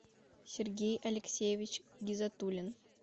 сергей алексеевич гизатуллин